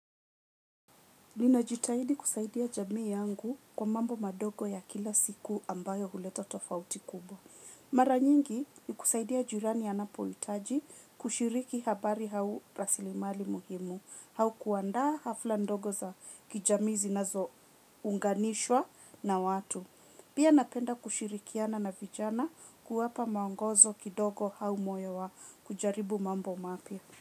Ninajitahidi kusaidia jamii yangu kwa mambo madogo ya kila siku ambayo huleta tofauti kubwa. Mara nyingi ni kusaidia jirani anapo itaji kushiriki habari hau rasilimali muhimu, hau kuanda hafla ndogo za kijami zinazo unganishwa na watu. Pia napenda kushirikiana na vijana kuwapa maongozo kidogo hau moyo wa kujaribu mambo mapia.